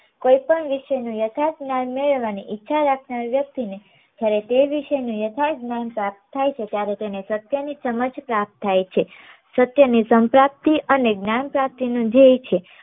કોઈ પણ વિશે નું યથાર્થ જ્ઞાન મેળવવા ની ઈચ્છા રાખનાર વ્યક્ત્રી ને જ્યારે તે વિષય નું યથાર્ત જ્ઞાન પ્રાપ્ત થાય છે ત્યારે તેને સત્ય ની સમજ પ્રાપ્ત થાય છે સત્ય ને અને જ્ઞાન પ્રાપ્તિ નું જીવે છે